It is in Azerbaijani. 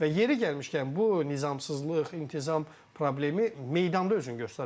Və yeri gəlmişkən bu nizamsızlıq, intizam problemi meydanda özünü göstərir.